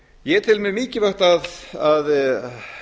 ég tel mjög mikilvægt að